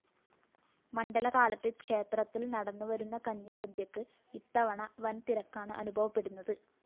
മണ്ഡലകാലത്ത് ക്ഷേത്രത്തില്‍ നടന്നുവരുന്ന കഞ്ഞിസദ്യക്ക് ഇത്തവണ വന്‍തിരക്കാണ് അനുഭവപ്പെടുന്നത്